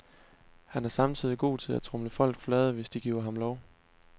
Han er samtidig god til at tromle folk flade, hvis de giver ham lov.